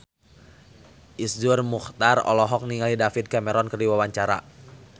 Iszur Muchtar olohok ningali David Cameron keur diwawancara